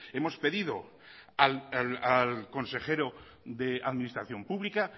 hemos pedido al consejero de administración pública